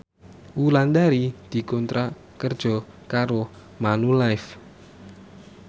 Wulandari dikontrak kerja karo Manulife